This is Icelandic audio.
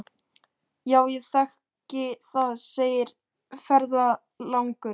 Já, ég þekki það, segir ferðalangur.